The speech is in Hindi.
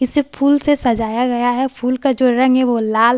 इसे फूल से सजाया गया है फूल का जो रंग है वो लाल और सादा--